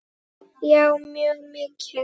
Já mjög mikið.